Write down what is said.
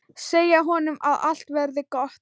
Segja honum að allt verði gott.